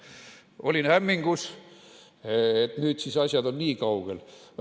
Olin hämmingus, et nüüd on asjad niikaugel.